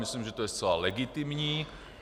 Myslím, že to je zcela legitimní.